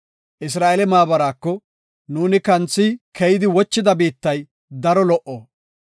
Isra7eele maabaraako, “Nuuni kanthi keyidi wochida biittay daro lo77o.